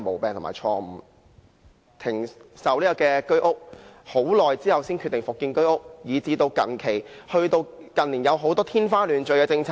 政府停售居屋，很長時間後才決定復建，以至近年有很多天花亂墜的政策。